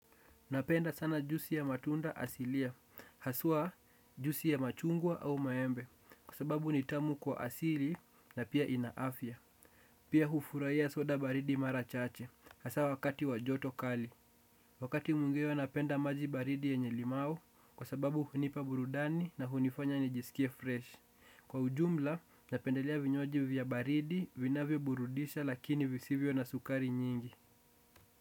Napenda sana juisi ya matunda asilia, haswa juisi ya machungwa au maembe, kwa sababu ni tamu kwa asili na pia inaafya. Pia hufurahia soda baridi mara chache, hasa wakati wa joto kali. Wakati mwingine napenda maji baridi yenye limau, kwa sababu hunipa burudani na hunifanya nijisikie fresh. Kwa ujumla, napendelea vinywaji vya baridi, vinavyoburudisha lakini visivyo na sukari nyingi.